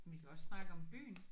Vi kan også snakke om byen